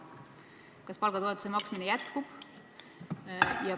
Kas selle maksmine jätkub?